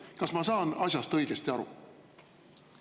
Kas ma saan asjast õigesti aru?